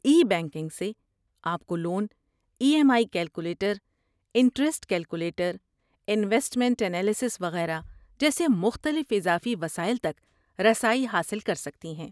ای banking سے، آپ کو loan E M I calculator, interest calculator investment analysis وغیرہ جیسے مختلف اضافی وسائل تک رسائی حاصل کر سکتی ہیں۔